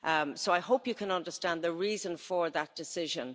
So I hope you can understand the reason for that decision.